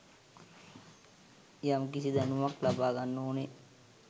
යම්කිසි දැනුමක් ලබාගන්න ඕනෙ.